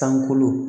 Sankolo